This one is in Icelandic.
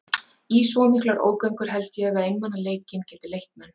Í svo miklar ógöngur held ég að einmanaleikinn geti leitt menn.